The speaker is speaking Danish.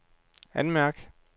anmærk